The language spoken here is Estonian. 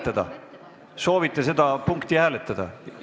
Kas soovite seda punkti hääletada?